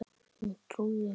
Hún trúði mér.